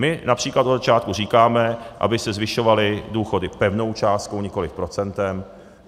My například od začátku říkáme, aby se zvyšovaly důchody pevnou částkou, nikoliv procentem.